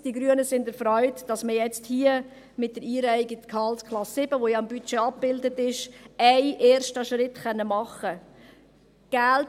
Die Grünen sind erfreut, dass mit der Einreihung in die Gehaltsklasse 7, die im Budget abgebildet ist, ein erster Schritt getan werden kann.